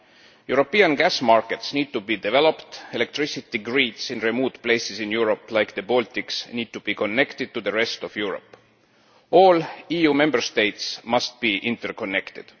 European gas markets need to be developed, and electricity grids in remote places in Europe, like the Baltics, need to be connected to the rest of Europe. All EU Member States must be interconnected.